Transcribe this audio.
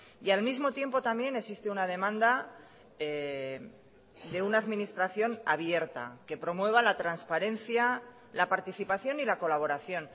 y al mismo tiempo también existe una demanda de una administración abierta que promueva la transparencia la participación y la colaboración